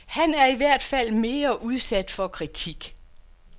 Han er i hvert fald mere udsatte for kritik.